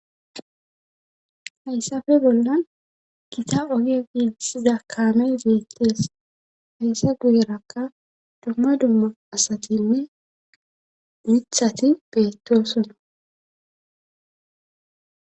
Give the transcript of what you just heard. Hayssape bollan gita oge giiisiza kamay zeettees hayssa guyerakka dumma dumma asatinne diithati beettoosona.